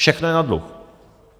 Všechno je na dluh.